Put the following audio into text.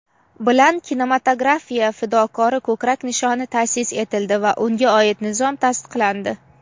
bilan "Kinematografiya fidokori" ko‘krak nishoni taʼsis etildi va unga oid nizom tasdiqlandi.